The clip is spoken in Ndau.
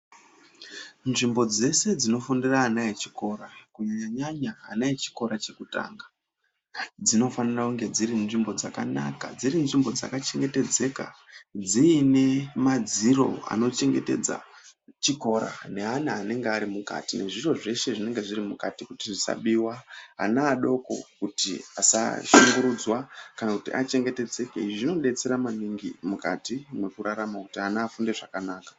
Nzvimbo dzeshe dzinofundira vana vechikora kunyanya vana vechikora chekutanga dzinofanire kunge dziri nzvimbo dzakanaka, dziri nzvimbo dzakachengetedzeka dziine madziro anochengetedza chikora neana anenge arimukati, nezviro zvinenge zviri mukati kuti zvisabiwa, ana adoko kuti asashungurudzwa kana kuti achengetedzeke, izvi zvinodetsera maningi mukati mekurarama kuti ana afunde zvakanaka.